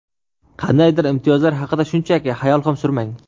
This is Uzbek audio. Qandaydir imtiyozlar haqida shunchaki hayol ham surmang.